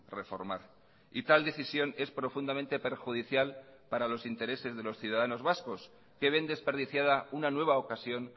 reformar y tal decisión es profundamente perjudicial para los intereses de los ciudadanos vascos que ven desperdiciada una nueva ocasión